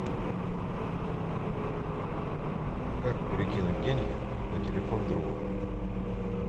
как перекинуть деньги на телефон друга